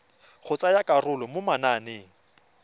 go tsaya karolo mo mananeng